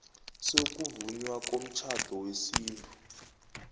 sokuvunywa komtjhado wesintu